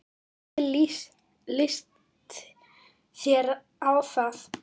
Hvernig litist þér á það?